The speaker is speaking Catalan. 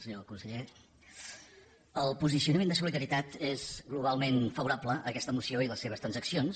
senyor conseller el posicionament de solidaritat és globalment favorable a aquesta moció i a les seves transaccions